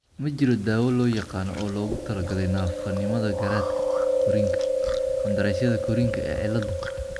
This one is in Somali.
Ma jiro dawo la yaqaan oo loogu talagalay naafanimada garaadka korriinka qandaraasyada korriinka ee cilladda.